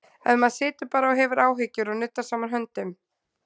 Ef maður situr bara og hefur áhyggjur og nuddar saman höndum?